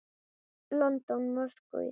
London, Moskvu.